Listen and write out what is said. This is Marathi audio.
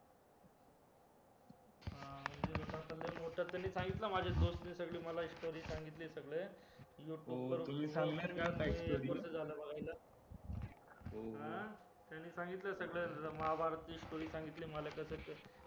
आता लय मोठं आहे त्यांनी सांगितलं माझ्या नि सगळी story सांगितली सगळं त्यांनी सांगितलं सगळं महाभारत ची story सांगितली सगळं